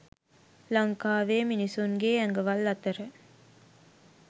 ලංකාවේ මිනිස්සුන්ගේ ඇඟවල් අතර